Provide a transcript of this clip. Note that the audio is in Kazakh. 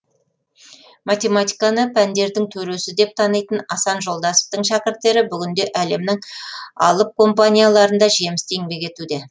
математиканы пәндердің төресі деп танитын асан жолдасовтың шәкірттері бүгінде әлемнің алып компанияларында жемісті еңбек етуде